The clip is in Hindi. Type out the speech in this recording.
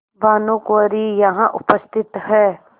भानुकुँवरि यहाँ उपस्थित हैं